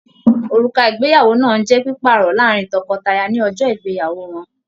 Òrùka ìgbéyàwó náà n jẹ pipaarọ láàrin tọkọtaya ní ọjọ ìgbéyàwó wọn.